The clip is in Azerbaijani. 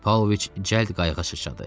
Paoviç cəld qayığa sıçradı.